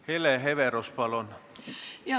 Hele Everaus, palun!